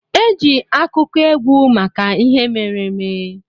Eji akụkọ ekwu maka ihe mere eme.